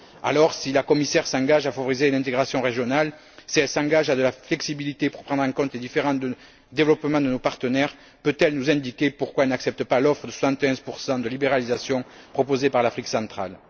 Alors, si la commissaire s'engage à favoriser une intégration régionale, si elle s'engage à davantage de flexibilité pour prendre en compte les différents niveaux de développement de nos partenaires, peut elle nous indiquer pourquoi elle n'accepte pas l'offre de 71 de libéralisation proposée par l'Afrique centrale?